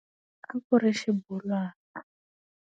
A ku ri xibolwana.